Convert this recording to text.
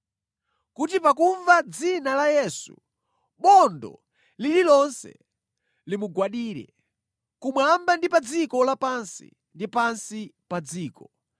kuti pakumva dzina la Yesu, bondo lililonse limugwadire, kumwamba ndi pa dziko lapansi ndi pansi pa dziko,